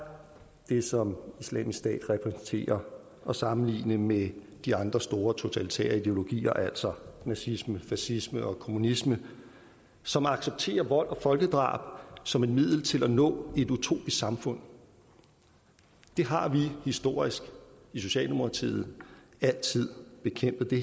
det som islamisk stat repræsenterer at sammenligne med de andre store totalitære ideologier altså nazisme fascisme og kommunisme som accepterer vold og folkedrab som et middel til at nå et utopisk samfund det har vi historisk i socialdemokratiet altid bekæmpet det